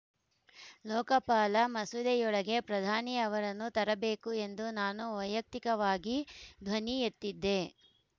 ಲೋಕಪಾಲ ಮಸೂದೆಯೊಳಗೆ ಪ್ರಧಾನಿ ಅವರನ್ನೂ ತರಬೇಕು ಎಂದು ನಾನು ವೈಯಕ್ತಿಕವಾಗಿ ಧ್ವನಿ ಎತ್ತಿದ್ದೆ